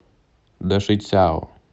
дашицяо